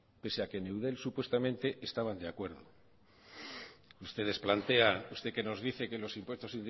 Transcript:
pese a que en eudel presuntamente estaban de acuerdo usted que nos dice que los impuesto indirectos